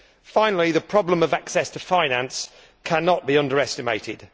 Finally, the problem of access to finance cannot be underestimated.